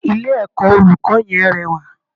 Ilé ẹ̀kọ́ olùkọ́ yẹn rẹwà